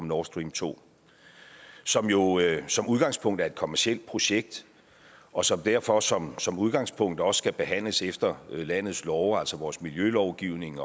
nord stream to som jo som udgangspunkt er et kommercielt projekt og som derfor som som udgangspunkt også skal behandles efter landets love altså vores miljølovgivning